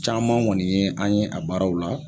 Caman ŋɔni ye an ye a baaraw la.